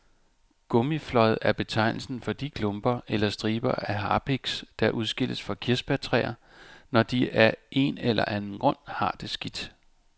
Gummiflåd er betegnelsen for de klumper eller striber af harpiks, der udskilles fra kirsebærtræer, når de af en eller anden grund har det skidt.